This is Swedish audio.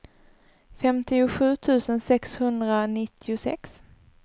femtiosju tusen sexhundranittiosex